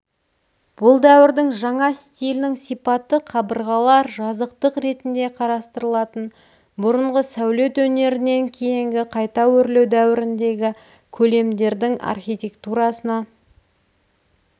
бұл дәуірдің жаңа стилінің сипаты қабырғалар жазықтық ретінде қарастырылатын бұрынғы сәулет өнерінен кейінгі қайта өрлеу дәуіріндегі көлемдердің архитектурасына